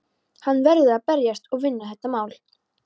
Hann verður að berjast og vinna þetta mál!